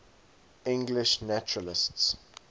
english naturalists